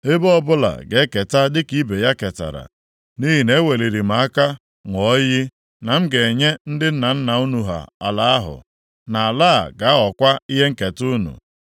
Ebo ọbụla ga-eketa dịka ibe ya ketara, nʼihi na-eweliri m aka ṅụọ iyi na m ga-enye ndị nna nna unu ala ahụ, na ala a ga-aghọkwa ihe nketa unu.